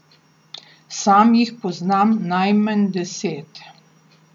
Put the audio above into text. Sam jih poznam najmanj deset.